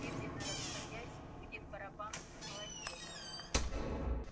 медленно расходясь гудит барабан молотилки